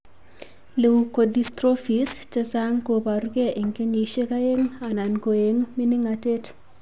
Leukodystrophies chechang' ko borugee eng' kenyishek aeng' anan ko eng' mining'natet.